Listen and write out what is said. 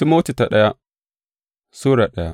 daya Timoti Sura daya